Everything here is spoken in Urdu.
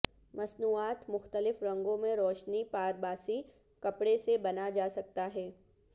مصنوعات مختلف رنگوں میں روشنی پارباسی کپڑے سے بنا جا سکتا ہے